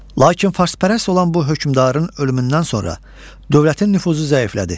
Lakin fərspərəst olan bu hökmdarın ölümündən sonra dövlətin nüfuzu zəiflədi.